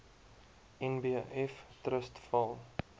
nbf trust val